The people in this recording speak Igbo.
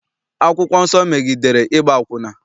Akwụkwọ nsọ megidere ịgba akwụna.